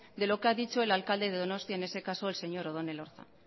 de lo que ha dicho el alcalde de donostia en ese caso el señor odon elorza